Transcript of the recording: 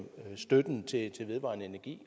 støtten til vedvarende energi